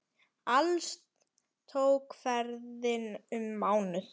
Alls tók ferðin um mánuð.